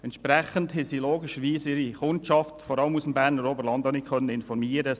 Entsprechend konnte das SVSA logischerweise seine Kundschaft vor allem auch im Berner Oberland nicht informieren.